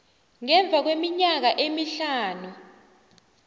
ngemva kweminyaka emihlanu